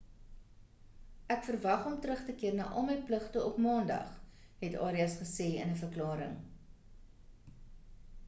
ek verwag om terug te keer na al my pligte op maandag het arias gesê in 'n verklaring